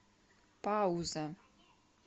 пауза